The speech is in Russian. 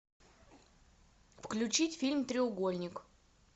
включить фильм треугольник